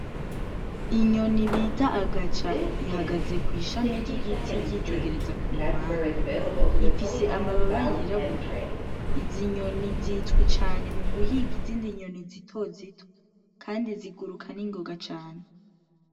Inyoni bita agaca ihagaze kw'ishami ry'igiti yitegereza ku mpande. Ifise amababa yirabura, izi nyoni zizwi cane mu guhiga izindi nyoni zitozito kandi ziguruka ningoga cane.